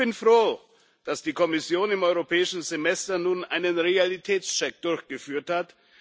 Ich bin froh, dass die Kommission im Europäischen Semester nun einen Realitätscheck durchgeführt hat.